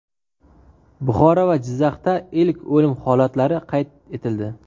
Buxoro va Jizzaxda ilk o‘lim holatlari qayd etildi.